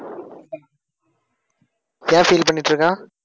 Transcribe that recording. ஏன் feel பண்ணிட்டு இருக்கான்